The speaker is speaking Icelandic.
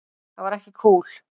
Það var ekki kúl.